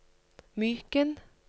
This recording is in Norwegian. Myken